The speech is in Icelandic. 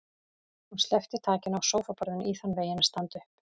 Hún sleppti takinu á sófaborðinu í þann veginn að standa upp.